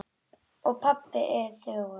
Og pabbi er þögull.